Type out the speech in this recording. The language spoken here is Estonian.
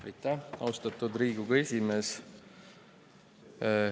Aitäh, austatud Riigikogu esimees!